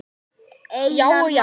Já og já!